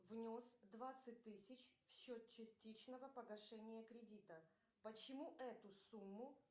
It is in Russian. внес двадцать тысяч в счет частичного погашения кредита почему эту сумму